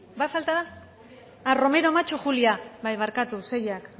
ah romero macho julia bai barkatu seiak